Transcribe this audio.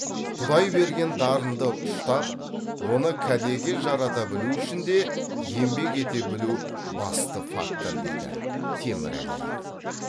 құдай берген дарынды ұштап оны кәдеге жарата білу үшін де еңбек ете білу басты фактор дейді темірәлиев